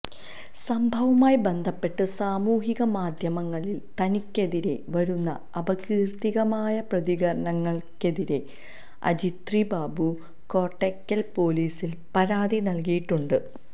സംഭവവുമായി ബന്ധപ്പെട്ട് സാമൂഹിക മാധ്യമങ്ങളിൽ തനിക്കെതിരേ വരുന്ന അപകീർത്തികമായ പ്രതികരണങ്ങൾക്കെതിരേ അജിത്രി ബാബു കോട്ടയ്ക്കൽ പൊലീസിൽ പരാതി നൽകിയിട്ടുണ്ട്